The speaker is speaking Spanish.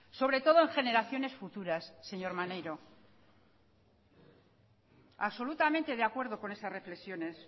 sobre todo en generaciones futuras señor maneiro absolutamente de acuerdo con esas reflexiones